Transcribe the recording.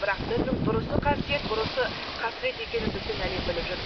бірақ діннің дұрысы қасиет бұрысы қасірет екенін біздің әлем біліп жүр